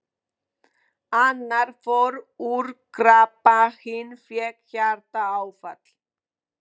Annar fór úr krabba, hinn fékk hjartaáfall.